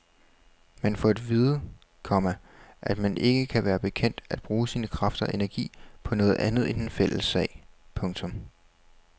Man får at vide, komma at man ikke kan være bekendt at bruge sin kraft og energi på noget andet end den fælles sag. punktum